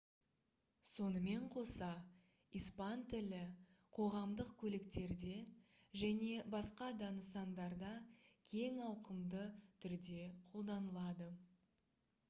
сонымен қоса испан тілі қоғамдық көліктерде және басқа да нысандарда кең ауқымды түрде қолданылады